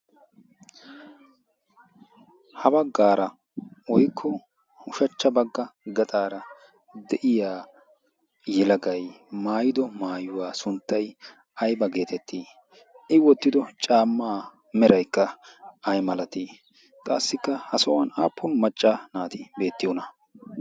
Ha baggaara woykko ushachcha bagga gaxaara de'iya yelagay maayido maayuwa sunttay ayba geetettii?I wottido caammaa meraykka ay malatii? qassikka ha sohuwan aappun macca naati beettiyonaa?